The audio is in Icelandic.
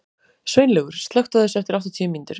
Sveinlaugur, slökktu á þessu eftir áttatíu mínútur.